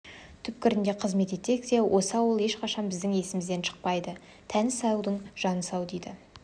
түкпірінде қызмет етсек те осы ауыл ешқашан біздің есімізден шықпайды тәні саудың жаны сау дейді